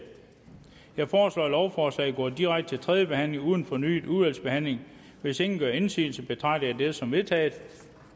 jeg foreslår at lovforslaget går direkte til tredje behandling uden fornyet udvalgsbehandling hvis ingen gør indsigelse betragter jeg dette som vedtaget